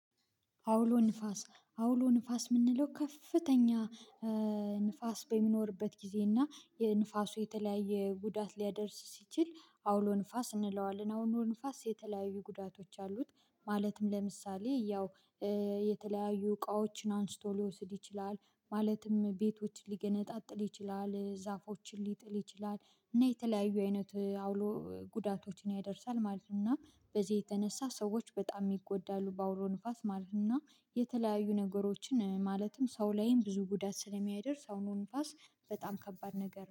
አውሎ ንፋስ አውሎ ንፋስ የምንለው ከፍተኛ ንፋስ በሚኖርበት ጊዜ እና የንፋሱ የተለያየ ጉዳት ሊያደርስ ሲችል አውሎ ንፋስ እንለዋለን። አውሎ ንፋስ የተለያዩ ጉዳቶች አሉት ማለትም፣ ለምሳሌ ያው የተለያዩ እቃዎችን አንስቶ ሊወስድ ይችላል ማለትም፣ ቤቶችን ሊገነጣጥል ይችላል፣ ዛፎችን ሊጥል ይችላል፣ እና የተለያዩ አይነት አውሎ ጉዳቶችን ያደርሳል ማለት ነው። በዚህ የተነሳ ሰዎች በጣም ይጎዳሉ በአውሎ ንፋስ ማለት ነው የተለያዩ ነገሮችን፣ ማለትም ሰው ላይም ብዙ ጉዳት ስለሚያደርስ፣ አውሎ ንፋስ በጣም ከባድ ነገር ነው።